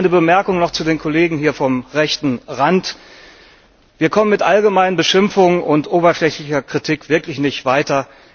Eine Bemerkung noch zu den Kollegen hier vom rechten Rand Wir kommen mit allgemeinen Beschimpfungen und oberflächlicher Kritik wirklich nicht weiter.